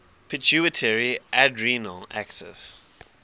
pituitary adrenal axis